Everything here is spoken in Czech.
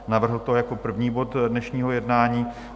Navrhl to jako první bod dnešního jednání.